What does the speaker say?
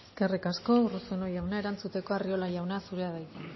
eskerrik asko urruzuno jauna erantzuteko arriola jauna zurea da hitza